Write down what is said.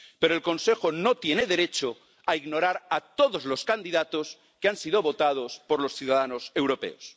Pero el Consejo no tiene derecho a ignorar a todos los candidatos que han sido votados por los ciudadanos europeos.